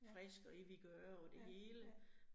Ja, ja ja